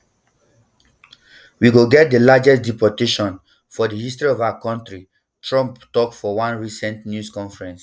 we go get di largest deportation for di history of our kontri trump tok for one recent news conference